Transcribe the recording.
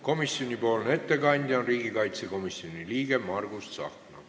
Komisjoni ettekandja on riigikaitsekomisjoni liige Margus Tsahkna.